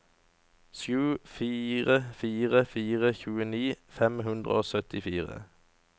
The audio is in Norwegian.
sju fire fire fire tjueni fem hundre og syttifire